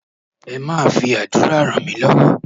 Ẹ máa fi àdúrà ràn mí lọ́wọ́